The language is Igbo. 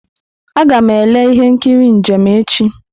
Aga m ele ihe nkiri njem echi.